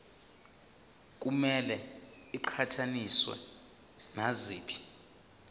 kumele iqhathaniswe naziphi